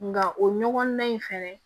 Nka o ɲɔgɔnna in fɛnɛ